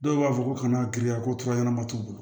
Dɔw b'a fɔ ko kana giriya ko fura ɲɛnama t'u bolo